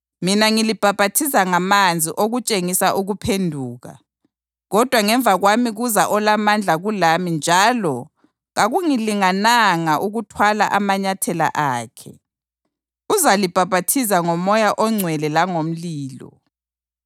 Mina ngilibhaphathiza ngamanzi okutshengisa ukuphenduka. Kodwa ngemva kwami kuza olamandla kulami njalo kakungilingananga ukuthwala amanyathela akhe. Uzalibhaphathiza ngoMoya oNgcwele langomlilo.